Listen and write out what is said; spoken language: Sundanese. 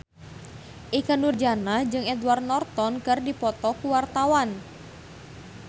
Ikke Nurjanah jeung Edward Norton keur dipoto ku wartawan